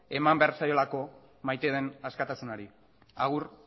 eman behar zaiolako maite den askatasunari agur